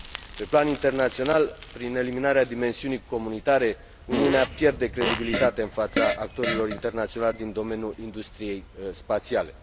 Pe plan internațional, prin eliminarea dimensiunii comunitare, Uniunea pierde credibilitate în fața actorilor internaționali din domeniul industriei spațiale.